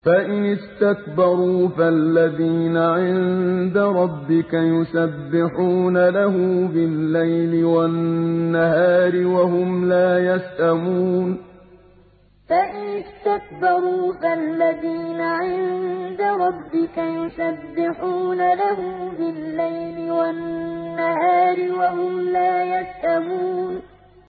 فَإِنِ اسْتَكْبَرُوا فَالَّذِينَ عِندَ رَبِّكَ يُسَبِّحُونَ لَهُ بِاللَّيْلِ وَالنَّهَارِ وَهُمْ لَا يَسْأَمُونَ ۩ فَإِنِ اسْتَكْبَرُوا فَالَّذِينَ عِندَ رَبِّكَ يُسَبِّحُونَ لَهُ بِاللَّيْلِ وَالنَّهَارِ وَهُمْ لَا يَسْأَمُونَ ۩